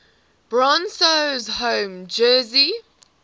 broncos home jersey